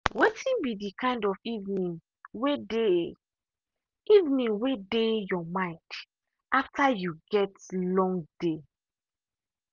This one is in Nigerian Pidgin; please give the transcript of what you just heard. wetin be the kind of evening way dey evening way dey your mind after you get long day.